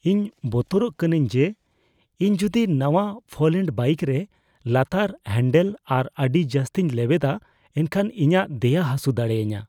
ᱤᱧ ᱵᱚᱛᱚᱨᱚᱜ ᱠᱟᱹᱱᱟᱹᱧ ᱡᱮ ᱤᱧ ᱡᱩᱫᱤ ᱱᱟᱣᱟᱼᱯᱷᱟᱝᱞᱮᱰ ᱵᱟᱭᱤᱠ ᱠᱚᱨᱮ ᱞᱟᱛᱟᱨ ᱦᱟᱱᱰᱮᱞ ᱵᱟᱨ ᱠᱚ ᱟᱹᱰᱤ ᱡᱟᱹᱥᱛᱤᱧ ᱞᱮᱣᱮᱫᱟ ᱮᱱᱠᱷᱟᱱ ᱤᱧᱟᱹᱜ ᱫᱮᱭᱟ ᱦᱟᱹᱥᱩ ᱫᱟᱲᱮᱭᱟᱹᱧᱟᱹ ᱾